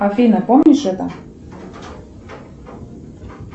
афина помнишь это